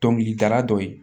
Dɔnkilidala dɔ ye